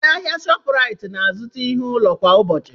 Ndị ahịa na Shopuraiti na-azụta ihe ụlọ kwa ụbọchị.